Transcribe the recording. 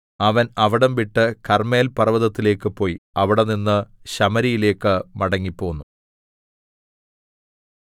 അവൻ അവിടംവിട്ട് കർമ്മേൽ പർവ്വതത്തിലേക്ക് പോയി അവിടെനിന്ന് ശമര്യയിലേക്ക് മടങ്ങിപ്പോന്നു